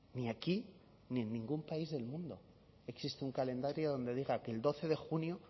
ni aquí ni en ningún país del mundo existe un calendario donde diga que el doce de junio